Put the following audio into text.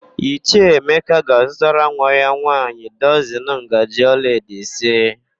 Ichie Emeka ga-azutara nwa ya nwaanyị dọzịn ngaji olaedo ise.